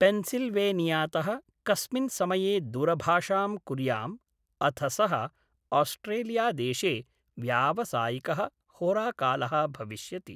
पेन्सिल्वेनियातः कस्मिन् समये दूरभाषां कुर्याम्, अथ सः ऑस्ट्रेलियादेशे व्यावसायिकः होराकालः भविष्यति।